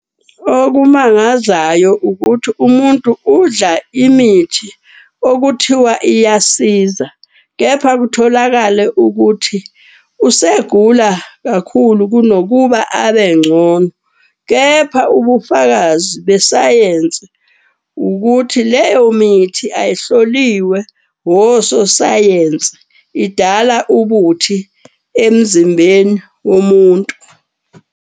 Okumangazayo ukuthi umuntu udla imithi okuthiwa iyasiza. Kepha kutholakale ukuthi usegula kakhulu kunokuba abengcono. Kepha ubufakazi besayensi ukuthi leyo mithi ayihloliwe ososayensi, idala ubuthi emzimbeni womuntu.